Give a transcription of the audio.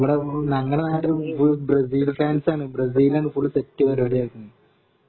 ഇവിടെ ഞങ്ങടെ നാട്ടില് ഫുൾ ബ്രസീൽ ഫാൻസാണ് ബ്രസീലാണ് ഫുൾ സെറ്റ് പരിപാടി ഇറക്കുന്നേ